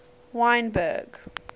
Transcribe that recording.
wynberg